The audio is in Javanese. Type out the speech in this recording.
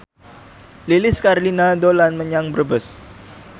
Lilis Karlina dolan menyang Brebes